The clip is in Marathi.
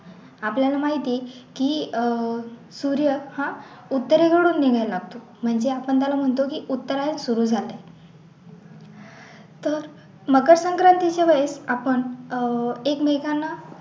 आपल्याला माहिती की अह सूर्य हा उत्तरे कडून निघायला लागतो म्हणजे आपण त्याला म्हणतो की उत्तरायण सुरु झालंय तर मग मकर संक्रांतीच्या वेळीस आपण अह एकमेकांना